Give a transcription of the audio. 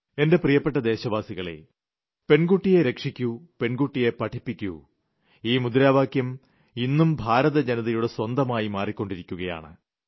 എന്റെ പ്രീയപ്പെട്ട ദേശവാസികളെ പെൺകുട്ടിയെ രക്ഷിക്കു പെൺകുട്ടിയെ പഠിപ്പിക്കൂ ഈ മുദ്രാവാക്യം ഇന്നും ഭാരത ജനതയുടെ സ്വന്തമായി മാറിയിരിക്കുകയാണ്